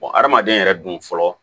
hadamaden yɛrɛ dun fɔlɔ